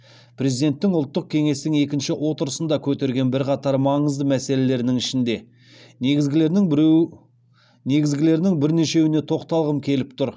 президенттің ұлттық кеңестің екінші отырысында көтерген бірқатар маңызды мәселелерінің ішінде негізгілерінің бірнешеуіне тоқталғым келіп тұр